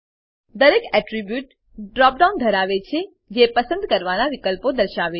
દરેક attribute drop down ધરાવે છે જે પસંદ કરવાના વિકલ્પો દર્શાવે છે